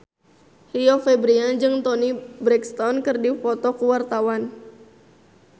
Rio Febrian jeung Toni Brexton keur dipoto ku wartawan